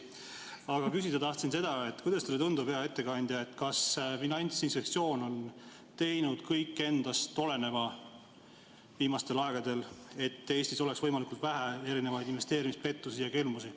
Aga küsida tahtsin seda, et kuidas teile, hea ettekandja, tundub, kas Finantsinspektsioon on teinud viimasel ajal kõik endast oleneva, et Eestis oleks võimalikult vähe investeerimispettusi ja -kelmusi.